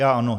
Já ano.